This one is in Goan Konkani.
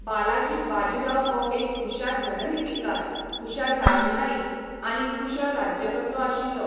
बालाजी बाजीराव हो एक हुशार रणनितीकार, हुशार राजनयिक आनी कुशळ राज्यकर्तो आशिल्लो.